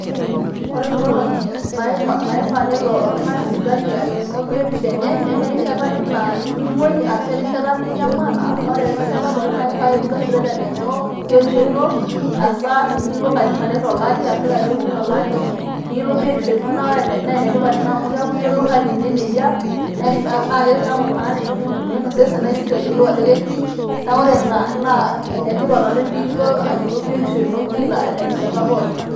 Ore ing'olong'i naifaa nelo oltung'ani sipitali alenoo biotisho enye neme erishata ake naa emoi ashu erishata ninyamal ore erishata pooki naa keifaa ake Nilo sipitali alenoo biotisho ino asa ilo katitin are to lari ashu ilo katitin uni to lari niyiolou biotisho ino naa ene tipat Ina amu keeku iyielou ehali ino eneyia, na naa keeku naa tenening' emoyian osesen naa esioki ayiolou ajo ketii, naa ore Ina naa enetipat oleng' pee ilo ayiolou biotisho ino kila terishata pooki.